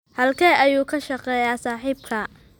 Halkee ayuu ka shaqeeyaa saaxiibkaa?